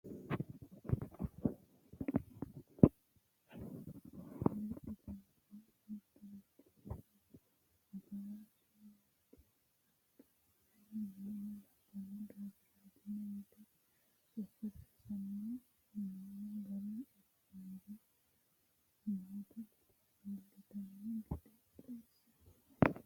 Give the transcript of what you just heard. Sidaamu fullahano giddo kuri mittoho togo fullahano heedhuro gobbateno lopho lexxittano, mittoricho mannu afara yte qaxartanni nooha labbano diafiini yte sokka saysanni noo gari ikkinori nootta iillitino gede xawisanoho.